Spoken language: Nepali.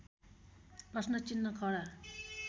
प्रश्नचिह्न खडा